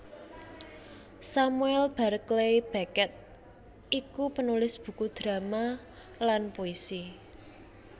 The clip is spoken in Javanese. Samuel Barclay Beckett iku penulis buku drama lan puisi